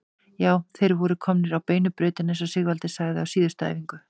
Já, þeir voru komnir á beinu brautina eins og Sigvaldi sagði á síðustu æfingu.